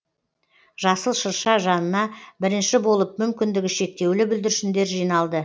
жасыл шырша жанына бірінші болып мүмкіндігі шектеулі бүлдіршіндер жиналды